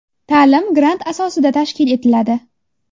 Ta’lim grant asosida tashkil etiladi.